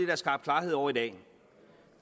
er skabt klarhed over i dag